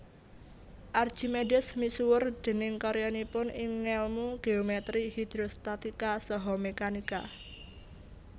Archimedes misuwur déning karyanipun ing ngèlmu geometri hidrostatika saha mekanika